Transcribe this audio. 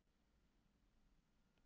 Hvasst á Suðvesturlandi